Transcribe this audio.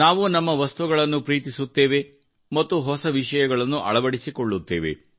ನಾವು ನಮ್ಮ ವಸ್ತುಗಳನ್ನು ಪ್ರೀತಿಸುತ್ತೇವೆ ಮತ್ತು ಹೊಸ ವಿಷಯಗಳನ್ನು ಅಳವಡಿಸಿಕೊಳ್ಳುತ್ತೇವೆ